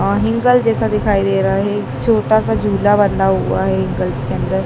और हींगल जैसा दिखाई दे रहा है छोटा सा झूला बंधा हुआ है के अंदर--